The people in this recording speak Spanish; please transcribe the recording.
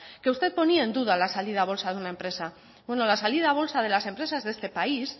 que usted ponía en duda la salida a bolsa de una empresa bueno la salida a bolsa de las empresas de este país